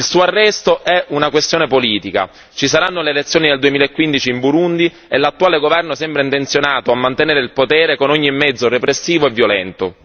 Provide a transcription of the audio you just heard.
Il suo arresto è una questione politica ci saranno le elezioni nel 2015 in Burundi e l'attuale governo sembra intenzionato a mantenere il potere con ogni mezzo repressivo e violento.